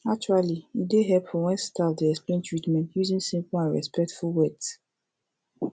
actually e dey hepful wen staf dey explain treatment using simple and respectful words